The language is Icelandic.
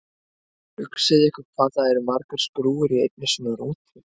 Hugsið ykkur hvað það eru margar skrúfur í einni svona rútu!